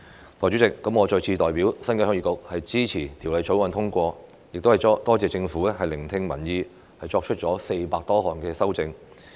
代理主席，我再次代表鄉議局支持《條例草案》通過，亦多謝政府聆聽民意，作出400多項修正。